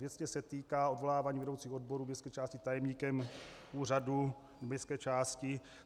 Věcně se týká odvolávání vedoucích odborů městské části tajemníkem úřadu městské části.